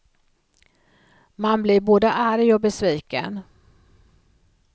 Man blir både arg och besviken.